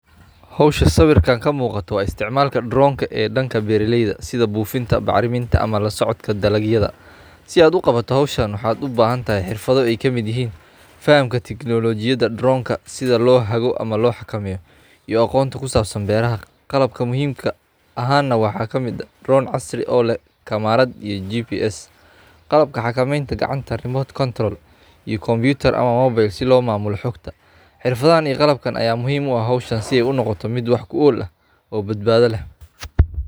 Hoosha sawirka kamuqato waa isticmaalka droneka ee danka beraaleyda sidhaa buufinta, bacraminta, ama lasocodka dalagyada. Si aad u qawato hooshan waxa ubahantahy xirfaada aay kamid yihin; fahamka technologiyadha droneka sidhaa loo hago ama loo xakameyo, ama aqoonta kusabsan beeraha qalabka muhimka ahan nah waxa kamid ah drone casri oo leeh kamerad iyo gps. Qalabka xakameynta gacanta remote control iyo kompitar ama mobile si lo maamulo xoogta, xirfadhahan iyo qalabkan aya muhiim uu ah howshan si ay u noqoto mid wax kuool ah oo badbadha leeh.